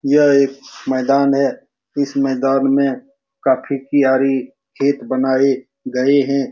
यह एक मैदान है इस मैदान में काफी प्यारी खेत बनाए गए हैं